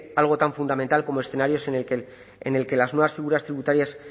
algo tan fundamental como escenarios en el que las nuevas figuras tributarias